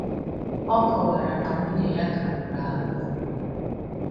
Ọ kọwara na nwunye ya ka nwụrụ anwụ.